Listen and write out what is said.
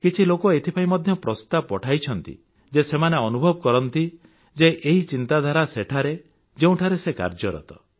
କିଛି ଲୋକ ଏଥିପାଇଁ ମଧ୍ୟ ପ୍ରସ୍ତାବ ପଠାଇଥାନ୍ତି ଯେ ସେମାନେ ଅନୁଭବ କରନ୍ତି ଯେ ଏହି ଚିନ୍ତାଧାରା ସେଠାରେ ଯେଉଁଠାରେ ସେ କାର୍ଯ୍ୟରତ